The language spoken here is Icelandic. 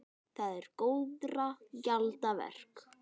Það er góðra gjalda vert.